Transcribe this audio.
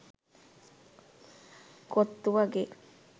කොත්තු වගේ